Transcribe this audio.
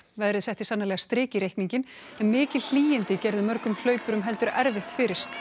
veðrið setti sannarlega strik í reikninginn en mikil hlýindi gerðu mörgum hlaupurum heldur erfitt fyrir